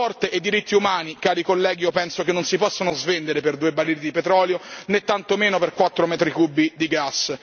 Lo sport e i diritti umani, cari colleghi, io penso che non si possono svendere per 2 barili di petrolio, né tantomeno per 4 metri cubi di gas.